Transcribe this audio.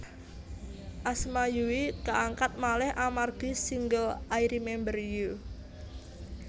Asma Yui kaangkat malih amargi single I Remember You